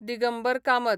Digambar Kamat